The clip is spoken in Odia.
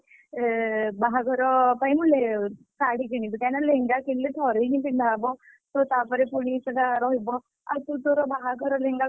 ଏ ବାହାଘର ପାଇଁ କି ମୁଁ ଲେ ଶାଢୀ କିଣିବି କାହିଁକି ନା ଲେହେଙ୍ଗା କିଣିଲେ ଥରେ ହିଁ ପିନ୍ଧା ହବ। ତ ତାପରେ ପୁଣି ସେଇଟା ରହିବ। ଆଉ ତୁ ତୋର ବାହାଘର ଲେହେଙ୍ଗାକୁ,